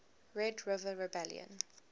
red river rebellion